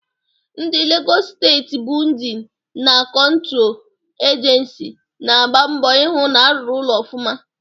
Ndi Legọs Steeti Bịudịn na Kọntro Ejensi na-agba mbọ ị hụ na-arụrụ ụlọ ọfụma.